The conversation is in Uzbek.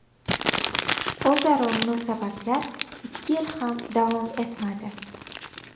O‘zaro munosabatlar ikki yil ham davom etmadi.